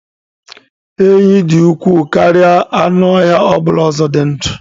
Enyí dị ukwuu karịa anụ ọhịa ọ bụla ọzọ dị ndụ.